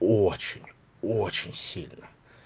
очень очень сильно